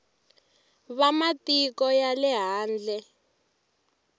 va matiko ya le handle